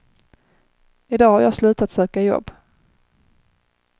I dag har jag slutat söka jobb.